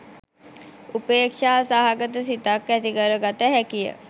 උපේක්‍ෂා සහගත සිතක් ඇති කරගත හැකිය.